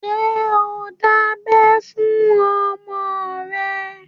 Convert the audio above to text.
Ṣé ò ń dábẹ́ fún ọmọ rẹ?